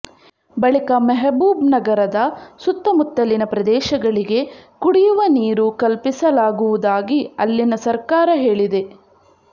ಬಳಿಕ ಮೆಹಬೂಬ್ನಗರದ ಸುತ್ತಮುತ್ತಲಿನ ಪ್ರದೇಶಗಳಿಗೆ ಕುಡಿಯುವ ನೀರು ಕಲ್ಪಿಸಲಾಗುವುದಾಗಿ ಅಲ್ಲಿನ ಸರ್ಕಾರ ಹೇಳಿದೆ